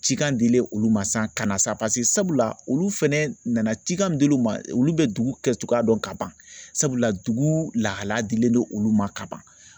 Cikan dilen olu ma sisan kana sisan sabula olu fɛnɛ nana cikan min dil'u ma olu bɛ dugu kɛcogoya dɔn ka ban sabula dugu lahalaya dilen don olu ma kaban